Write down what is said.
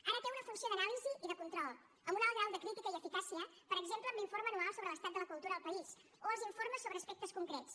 ara té una funció d’anàlisi i de control amb un alt grau de crítica i eficàcia per exemple amb l’informe anual sobre l’estat de la cultura al país o els informes sobre aspectes concrets